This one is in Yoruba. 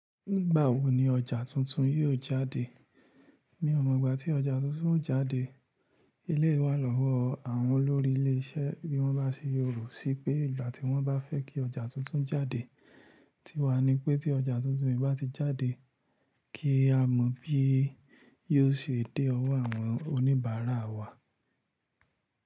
Nígbà wo ni ọjà tuntun yóò jáde? Mi ò mọ̀ ìgbà tí ọjà tuntun ó jáde. Eleyii wa lowo àwọn olórí ilé iṣẹ́ bí wọ́n bá ṣe rò ó sí pé ìgbà tí wọ́n bá fẹ́ kí ọjà tuntun jáde. Tíwa ni pé tí ọjà tuntun yìí bá ti jáde, kí a mọ̀ bí yóò ṣe dé ọwọ́ àwọn oníbàárà wa.